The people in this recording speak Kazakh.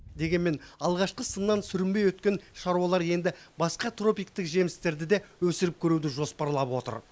дегенмен алғашқы сыннан сүрінбей өткен шаруалар енді басқа тропиктік жемістерді де өсіріп көруді жоспарлап отыр